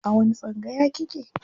A wani tsangaya kike?